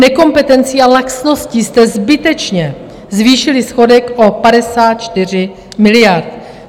Nekompetencí a laxností jste zbytečně zvýšili schodek o 54 miliard.